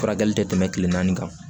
Furakɛli tɛ tɛmɛ kile naani kan